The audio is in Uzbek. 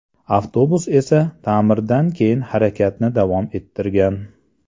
Avtobus esa ta’mirdan keyin harakatni davom ettirgan.